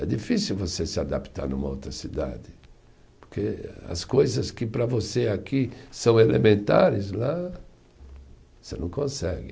É difícil você se adaptar numa outra cidade, porque as coisas que para você aqui são elementares, lá você não consegue.